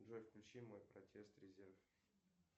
джой включи мой протест резерв